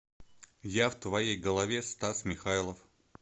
я в твоей голове стас михайлов